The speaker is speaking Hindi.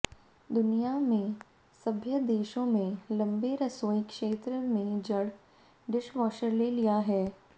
दुनिया में सभ्य देशों में लंबे रसोई क्षेत्र में जड़ डिशवॉशर ले लिया है